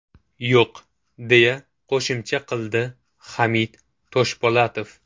Yo‘q!”, deya qo‘shimcha qildi Hamid Toshpo‘latov.